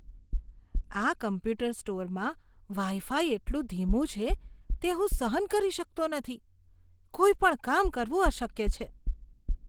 આ કમ્પ્યુટર સ્ટોરમાં wifi એટલું ધીમું છે તે હું સહન કરી શકતો નથી. કોઈ પણ કામ કરવું અશક્ય છે.